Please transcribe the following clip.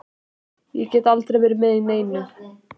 Ég get aldrei verið með í neinu.